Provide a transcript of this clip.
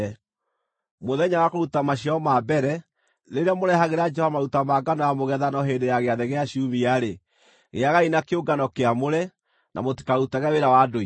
“ ‘Mũthenya wa kũruta maciaro ma mbere, rĩrĩa mũrehagĩra Jehova maruta ma ngano ya mũgethano hĩndĩ ya Gĩathĩ gĩa Ciumia-rĩ, gĩagai na kĩũngano kĩamũre, na mũtikarutage wĩra wa ndũire.